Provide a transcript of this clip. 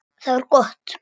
Það var gott